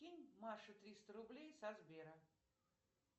кинь маше триста рублей со сбера